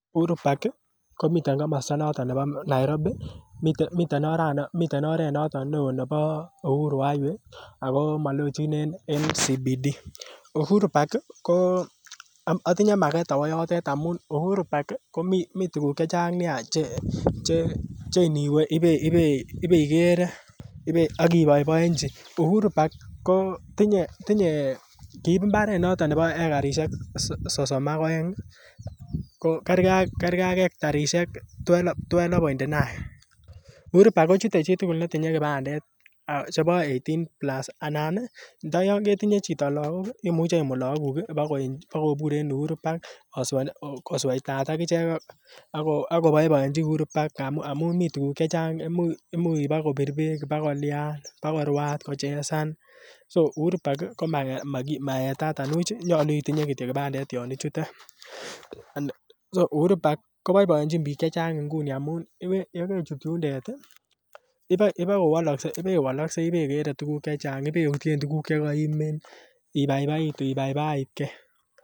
Uhuru park komiten komosta noton nebo Nairobi miten oret noton neoo nebo Uhuru highway ako malochin ak Central Business District Uhuru park ko otinye maket awo yotet amun Uhuru park komii tuguk chechang Nia che cheiniwe ibeikere ak iboiboenji Uhuru parl ko tinye kiib mbaret noton nebo ekarisiek sosom ak oeng ko kergee ak hectarisiek twelve point nine uhuru park kochute chitugul netinye kipandet chebo eighteen plus anan ih ndo yon ketinye chito lakok ih imuch imut lakok kuk bakobur en Uhuru pqrk kosweitat ak ichek ak koboiboenji Uhuru park amun mii tuguk chechang imuch bakobir beek bakolyan bakorwaat kochesan so Uhuru park komaetat anibuch nyolu kityo itindoi kipandet yon ichute so Uhuru park koboiboenjin biik chechang nguni amun yekeichut yundet ih ibokowolokse ibewoloksei ibekere tuguk chechang ibeutyen tuguk chekoimin ibaibaitu ibaibaitgee